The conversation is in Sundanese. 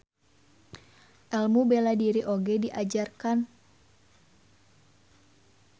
Elmu bela diri oge diajarkan.